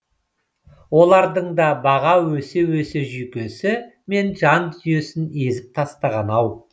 олардың да баға өсе өсе жүйкесі мен жандүниесін езіп тастаған ау